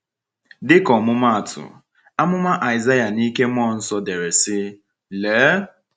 Dịka ọmụmaatụ, amụma Aịsaịa n’ike mmụọ nsọ dere sị: “Lee!”